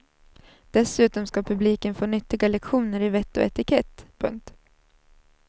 Dessutom ska publiken få nyttiga lektioner i vett och etikett. punkt